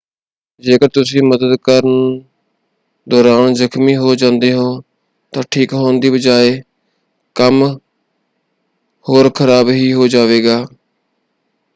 ਜੇਕਰ ਤੁਸੀਂ ਮਦਦ ਕਰਨ ਦੌਰਾਨ ਜਖ਼ਮੀ ਹੋ ਜਾਂਦੇ ਹੋ ਤਾਂ ਠੀਕ ਹੋਣ ਦੀ ਬਜਾਏ ਕੰਮ ਹੋਰ ਖ਼ਰਾਬ ਹੀ ਹੋ ਜਾਵੇਗਾ।